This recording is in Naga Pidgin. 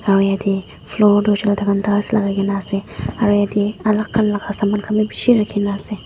aru yatae floor tu hoishey koilae tahan tiles lakai na ase aru yatae alak khan la Saman bi bishi rakhi na ase.